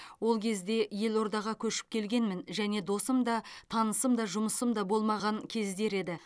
ол кезде елордаға көшіп келгенмін және досым да танысым да жұмысым да болмаған кездер еді